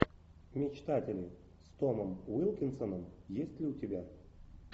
мечтатели с томом уилкинсоном есть ли у тебя